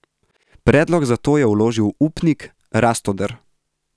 Predlog za to je vložil upnik Rastoder.